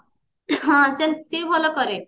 ହଁ ସିଏ ବି ଭଲ କରେ